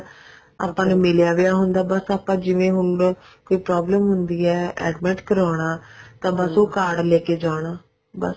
ਆਪਾਂ ਨੂੰ ਮਿਲਿਆ ਵਾ ਹੁੰਦਾ ਜਿਵੇਂ ਹੁਣ ਕੋਈ ਪ੍ਰੋਬਲੇ ਹੁੰਦੀ ਹੈ admit ਕਰਵਾਉਣਾ ਤਾਂ ਬੱਸ ਉਹ card ਲੈਕੇ ਜਾਣਾ ਬੱਸ